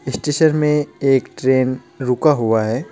इस स्टेशन में एक ट्रेन रुका हुआ है.